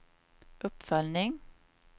uppföljning